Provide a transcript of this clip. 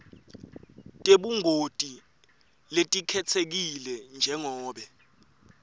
tebungoti letikhetsekile njengobe